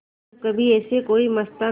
जब कभी ऐसे कोई मस्ताना